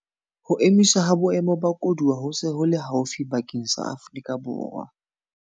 Ho emiswa ha Boemo ba Koduwa ho se ho le haufi bakeng sa Afrika Borwa.